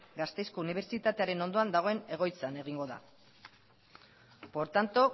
gasteizko unibertsitatearen ondoan dagoen egoitzan egingo da por tanto